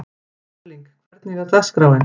Erling, hvernig er dagskráin?